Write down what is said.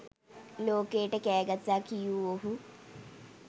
ලෝකයට කෑ ගසා කියූ ඔහු